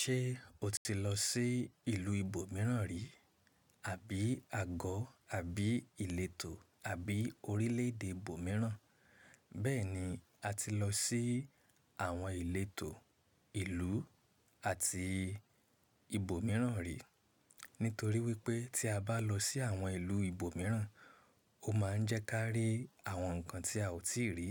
Ṣé o ti lọ sí ìlú ibòmíràn rí, àbí àgọ̀, àbí ìletò àbí orílẹ̀-èdè ibòmíràn? Bẹ́ẹ̀ni, a ti lọ sí àwọn ìletò, ìlú àti ibòmíràn rí. Nítorí wípé tí a bá lọ sí àwọn ìlú ibòmíràn, ó máa ń jẹ́ ká rí àwọn nǹkan tí a ò tíì rí.